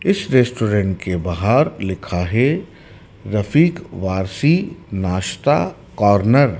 इस रेस्टोरेंट के बाहर लिखा है रफीक वाशी नाश्ता कॉर्नर ।